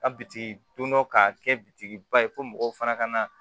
A bitigi don dɔ k'a kɛ bitikiba ye fo mɔgɔw fana ka na